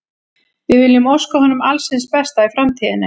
Við viljum óska honum alls hins besta í framtíðinni.